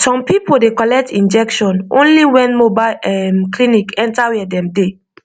some people dey collect injection only when mobile erm clinic enter where dem dey